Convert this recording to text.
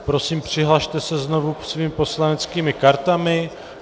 Prosím, přihlaste se znovu svými poslaneckými kartami.